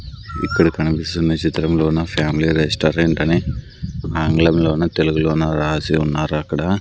ఇక్కడ కనిపిస్తున్న చిత్రంలోన ఫ్యామిలీ రెస్టారెంట్ అని ఆంగ్లంలోనూ తెలుగులోన రాసి ఉన్నారు అక్కడ.